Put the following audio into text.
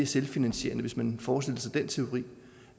selvfinansierende hvis man forestille sig den teori